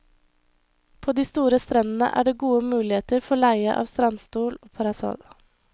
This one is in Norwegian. På de store strendene er det gode muligheter for leie av strandstol og parasoll.